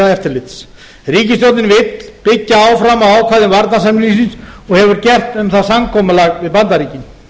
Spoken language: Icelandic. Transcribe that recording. útlendingaeftirlits ríkisstjórnin vill byggja áfram á ákvæðum varnarsamningsins og hefur gert um það samkomulag við bandaríkin